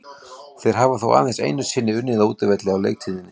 Þeir hafa þó aðeins einu sinni unnið á útivelli á leiktíðinni.